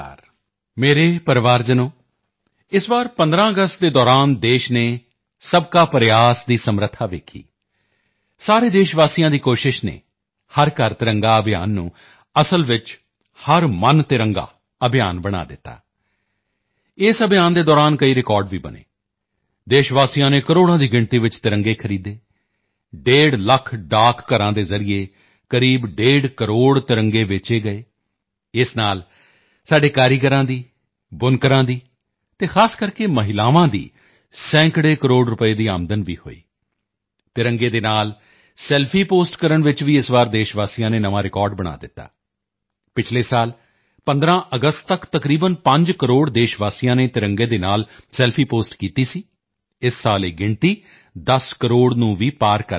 ਮੇਰੇ ਪਰਿਵਾਰਜਨੋ ਇਸ ਵਾਰ 15 ਅਗਸਤ ਦੇ ਦੌਰਾਨ ਦੇਸ਼ ਨੇ ਸਬਕਾ ਪ੍ਰਯਾਸ ਦੀ ਸਮਰੱਥਾ ਵੇਖੀ ਸਾਰੇ ਦੇਸ਼ਵਾਸੀਆਂ ਦੀ ਕੋਸ਼ਿਸ਼ ਨੇ ਹਰ ਘਰ ਤਿਰੰਗਾ ਅਭਿਯਾਨ ਨੂੰ ਅਸਲ ਵਿੱਚ ਹਰ ਮਨ ਤਿਰੰਗਾ ਅਭਿਯਾਨ ਬਣਾ ਦਿੱਤਾ ਇਸ ਅਭਿਯਾਨ ਦੇ ਦੌਰਾਨ ਕਈ ਰਿਕਾਰਡ ਵੀ ਬਣੇ ਦੇਸ਼ਵਾਸੀਆਂ ਨੇ ਕਰੋੜਾਂ ਦੀ ਗਿਣਤੀ ਵਿੱਚ ਤਿਰੰਗੇ ਖਰੀਦੇ ਡੇਢ ਲੱਖ ਡਾਕਘਰਾਂ ਦੇ ਜ਼ਰੀਏ ਕਰੀਬ ਡੇਢ ਕਰੋੜ ਤਿਰੰਗੇ ਵੇਚੇ ਗਏ ਇਸ ਨਾਲ ਸਾਡੇ ਕਾਰੀਗਰਾਂ ਦੀ ਬੁਨਕਰਾਂ ਦੀ ਅਤੇ ਖਾਸ ਕਰਕੇ ਮਹਿਲਾਵਾਂ ਦੀ ਸੈਂਕੜੇ ਕਰੋੜ ਰੁਪਏ ਦੀ ਆਮਦਨ ਵੀ ਹੋਈ ਹੈ ਤਿਰੰਗੇ ਦੇ ਨਾਲ ਸੈਲਫੀ ਪੋਸਟ ਕਰਨ ਵਿੱਚ ਵੀ ਇਸ ਵਾਰ ਦੇਸ਼ਵਾਸੀਆਂ ਨੇ ਨਵਾਂ ਰਿਕਾਰਡ ਬਣਾ ਦਿੱਤਾ ਹੈ ਪਿਛਲੇ ਸਾਲ 15 ਅਗਸਤ ਤੱਕ ਤਕਰੀਬਨ 5 ਕਰੋੜ ਦੇਸ਼ਵਾਸੀਆਂ ਨੇ ਤਿਰੰਗੇ ਦੇ ਨਾਲ ਸੈਲਫੀ ਪੋਸਟ ਕੀਤੀ ਸੀ ਇਸ ਸਾਲ ਇਹ ਗਿਣਤੀ 10 ਕਰੋੜ ਨੂੰ ਵੀ ਪਾਰ ਕਰ ਗਈ ਹੈ